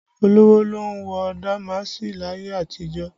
Olówó ló ń wọ damaasi láyé àtijó